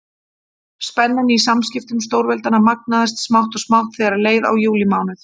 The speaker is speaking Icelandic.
Spennan í samskiptum stórveldanna magnaðist smátt og smátt þegar leið á júlímánuð.